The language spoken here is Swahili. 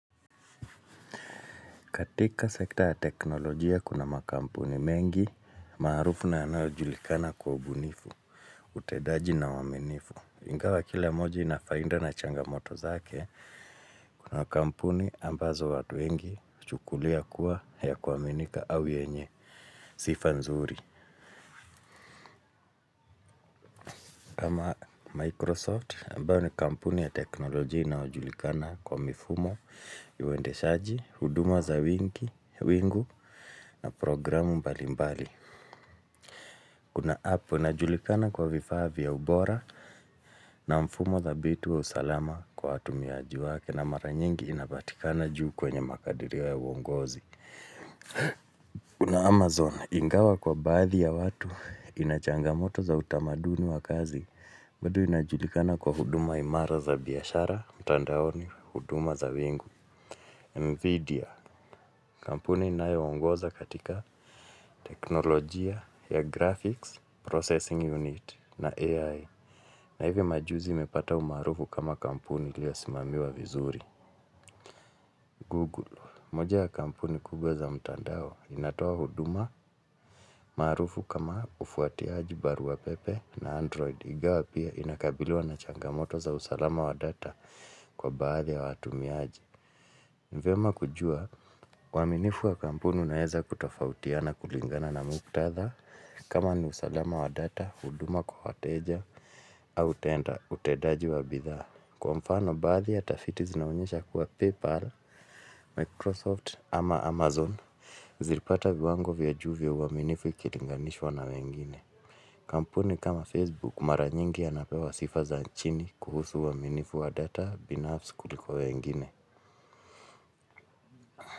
Katika sekta ya teknolojia kuna makampuni mengi, maarufu na yanayojulikana kwa ubunifu, utendaji na uaminifu. Ingawa kila moja ina faida na changamoto zake, kuna makampuni ambazo watu wengi huchukulia kuwa ya kuaminika au yenye, sifa nzuri. Kama Microsoft, ambayo ni kampuni ya teknolojia inayojulikana kwa mifumo, uendeshaji, huduma za wingu na programu mbali mbali. Kuna app, inajulikana kwa vifaa vya ubora na mfumo dhabiti wa usalama kwa watumiaji wake na mara nyingi inapatikana juu kwenye makadirio ya uongozi. Kuna amazon ingawa kwa baadhi ya watu ina changamoto za utamaduni wa kazi. Bado inajulikana kwa huduma imara za biashara, mtandaoni, huduma za wingu Nvidia, kampuni inayoongoza katika teknolojia ya graphics, processing unit na AI. Na hivyo majuzi imepata umaarufu kama kampuni iliyosimamiwa vizuri Google, mmoja ya kampuni kubwa za mtandao inatoa huduma maarufu kama ufuatiaji barua pepe na android. Ingawa pia inakabiliwa na changamoto za usalama wa data kwa baadhi ya watumiaji. Ni vyema kujua, uaminifu wa kampuni unaweza kutofautiana kulingana na muktadha kama ni usalama wa data, huduma kwa wateja, au tenda, utendaji wa bidhaa. Kwa mfano baadhi ya tafiti zinaonyesha kuwa PayPal, Microsoft ama Amazon Zilipata viwango vya juu vya uaminifu ikilinganishwa na wengine. Kampuni kama Facebook mara nyingi yanapewa sifa za chini kuhusu uaminifu wa data binafsi kuliko wengine.